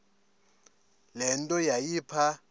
le nto yayipha